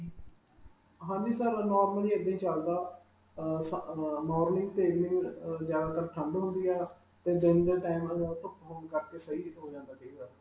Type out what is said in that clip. ਹਾਂਜੀ sir, ਅਅ normally ਇੱਦਾਂ ਹੀ ਚਲਦਾ. ਅਅ ਸਸ ਅਅ normally ਜਿਆਦਾ ਤਰ ਠੰਡ ਹੁੰਦੀ ਹੈ 'ਤੇ ਦਿਨ ਦੇ time ਧੁਪ ਹੋਣ ਕਰਕੇ ਸਹੀ ਜੋ ਜਾਂਦਾ .